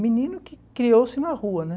Menino que criou-se na rua, né?